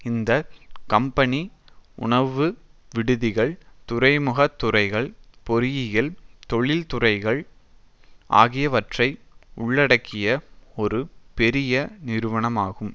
இந்த கம்பெனி உணவு விடுதிகள் துறைமுகத்துறைகள் பொறியியல் தொழிற்துறைகள் ஆகியவற்றை உள்ளடக்கிய ஒரு பெரிய நிறுவனமாகும்